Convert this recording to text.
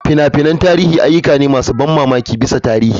Fina-finan tarihi ayyuka ne masu ban mamaki bisa tarihi.